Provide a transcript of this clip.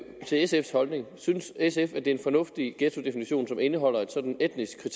sfs holdning synes sf det er en fornuftig ghettodefinition som indeholder et sådant etnisk